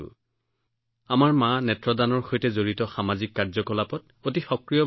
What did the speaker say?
এই বিষয়ত মাৰ উচ্চ চিন্তা আছিল আগতে তেওঁ চকু দানৰ দৰে সামাজিক কাৰ্যকলাপত অতি সক্ৰিয় আছিল